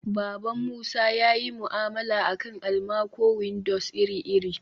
baban musa yayi mu'amala akan almaco-windows iri-iri